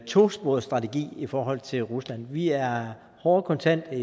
tosporet strategi i forhold til rusland vi er hårde og kontante